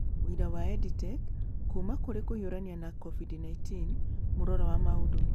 Ũira wa EdTech Kuuma Kũrĩ Kũhiũrania na COVID-19: Mũrora wa maũndũ